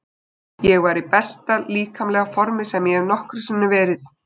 Ég var í besta líkamlega formi sem ég hafði nokkru sinni verið.